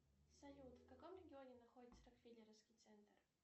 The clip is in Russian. салют в каком регионе находится рокфелеровский центр